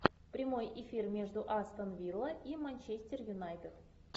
прямой эфир между астон вилла и манчестер юнайтед